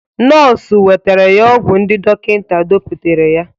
Nọọsụ wetara ya ọgwụ ndi dọkịta depụtara ya.